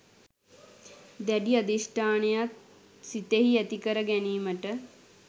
දැඩි අධිෂ්ඨානයක් සිතෙහි ඇති කර ගැනීමට